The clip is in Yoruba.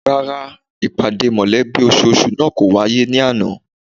Rárá, ìpàdé mọ̀lẹ́bí ososù náà kò wáyé ní àná